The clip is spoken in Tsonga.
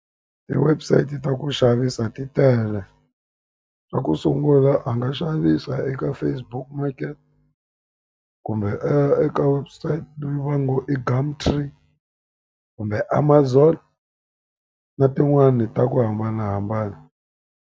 Ti-website ta ku xavisa titele. Xa ku sungula a nga xavisa eka Facebook Market, kumbe eka website leyi va ngo i Gumtree, kumbe Amazon, na tin'wani ta ku hambanahambana.